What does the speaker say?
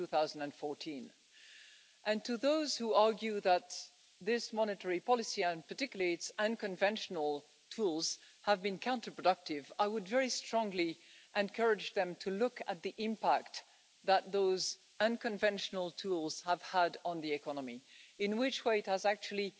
2014. To those who argue that this monetary policy, and particularly its unconventional tools, have been counterproductive, I would very strongly encourage them to look at the impact that those unconventional tools have had on the economy in which way it has actually